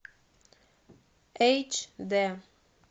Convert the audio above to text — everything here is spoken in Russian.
эйч д